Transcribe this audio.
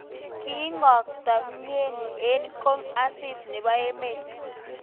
Kikotok mnyeni eng kong asis nebo emet.